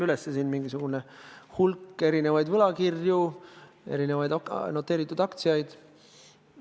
Ma enne siin lugesin üles hulga erinevaid võlakirju, erinevaid noteeritud aktsiaid.